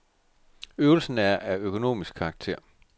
Øvelsen er af økonomisk karakter.